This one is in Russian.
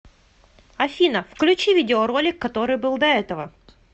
афина включи видео ролик который был до этого